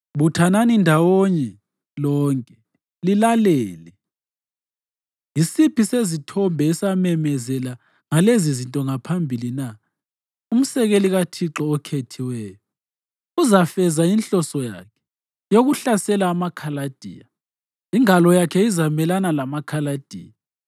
Buthanani ndawonye lonke lilalele: Yisiphi sezithombe esamemezela ngalezizinto ngaphambilini na? Umsekeli kaThixo okhethiweyo uzafeza inhloso yakhe yokuhlasela amaKhaladiya; ingalo yakhe izamelana lamaKhaladiya.